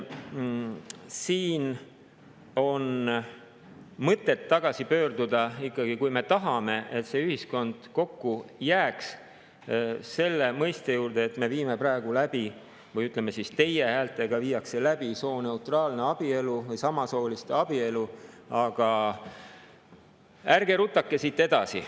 Siin on mõtet tagasi pöörduda, kui me tahame, et see ühiskond kokku jääks, selle juurde, et me viime praegu läbi – või ütleme siis, et teie häältega viiakse läbi – sooneutraalset abielu ja samasooliste abielu, aga ärgem rutakem siit edasi.